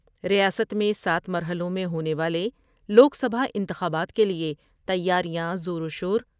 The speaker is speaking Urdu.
ریاست میں سات مرحلوں میں ہونے والے لوک سبھا انتخابات کے لئے تیاریاں زور وشور